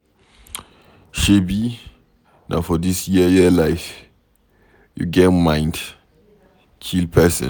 Shebi na for dis yeye life you get mind kill person.